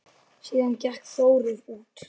Síðan gekk Þórir út.